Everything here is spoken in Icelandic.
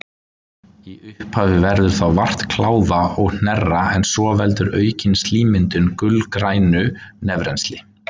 Í upphafi verður þá vart kláða og hnerra en svo veldur aukin slímmyndun gulgrænu nefrennsli.